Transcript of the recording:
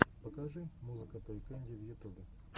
покажи музыка той кэнди в ютубе